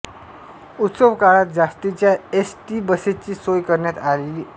उत्सव काळात जास्तीच्या एस टी बसेसची सोय करण्यात आलेली असते